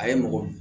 A ye mɔgɔ